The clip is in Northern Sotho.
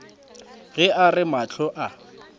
ge a re mahlo a